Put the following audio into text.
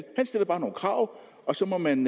stiller bare nogle krav og så må man